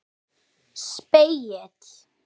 Fyrsta bindi.